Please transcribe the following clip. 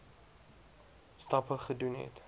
stappe gedoen het